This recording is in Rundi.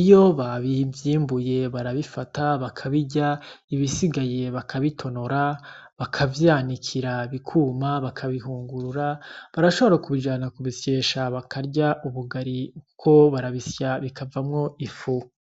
iyo bavyimbuye barabifata bakabirya ibisigaye bakabitonora bakavyanikira bikuma bakabihungurura barashobora kubijana kubisyesha bakarya ubugari kuko barabisya bikavamwo ifu.